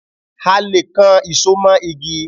A le kan ìṣo mó igi.